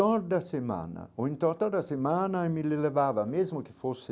Toda semana, ou então toda semana, me levava mesmo que fosse